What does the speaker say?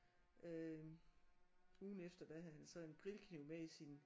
Øh ugen efter der havde han så en grillkniv med i sin